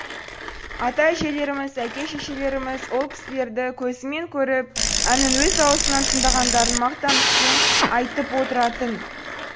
ата әжелеріміз әке шешелеріміз ол кісілерді көзімен көріп әнін өз аузынан тыңдағандарын мақтанышпен айтып отыратын